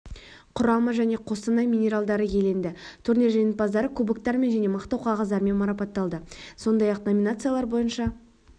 құрамы және қостанай минералдары иеленді турнир жеңімпаздары кубоктармен және мақтау қағаздарымен марапатталды сондай-ақ номинациялар бойынша